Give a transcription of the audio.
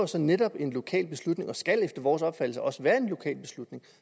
så netop en lokal beslutning og skal efter vores opfattelse også være en lokal beslutning